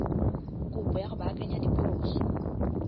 kopo ya go baakanya diphoso